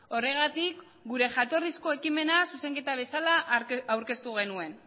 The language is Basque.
horregatik gure jatorrizko ekimena zuzenketa bezala aurkeztu genuen